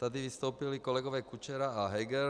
Tady vystoupili kolegové Kučera a Heger.